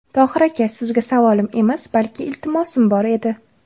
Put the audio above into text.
Tohir aka, sizga savolim emas, balki iltimosim bor edi.